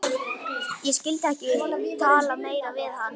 Ég skyldi ekki tala meira við hann.